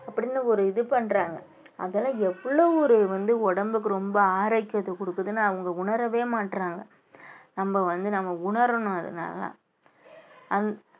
அப்படின்னு ஒரு இது பண்றாங்க அதெல்லாம் எவ்வளவு ஒரு வந்து உடம்புக்கு ரொம்ப ஆரோக்கியத்தை கொடுக்குதுன்னு அவங்க உணரவே மாட்றாங்க நம்ம வந்து நம்ம உணரணும் அதனால அந்~